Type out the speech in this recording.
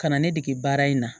Ka na ne dege baara in na